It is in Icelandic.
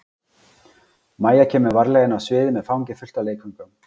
Mæja kemur varlega inn á sviðið með fangið fullt af leikföngum.